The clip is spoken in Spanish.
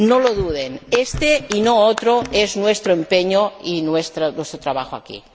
No lo duden, éste y no otro es nuestro empeño y nuestro trabajo aquí.